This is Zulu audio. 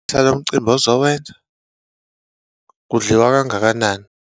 Lo umcimbi ozowenza, kudliwa kangakanani?